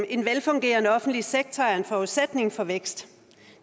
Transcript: en velfungerende offentlig sektor er en forudsætning for vækst